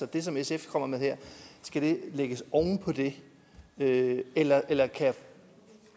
det som sf kommer med her lægges oven på det det eller